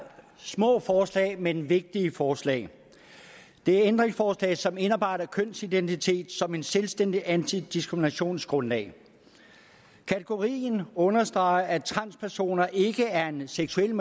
små forslag men vigtige forslag det er ændringsforslag som indarbejder kønsidentitet som et selvstændigt antidiskriminationsgrundlag kategorien understreger at transpersoner ikke er en seksuel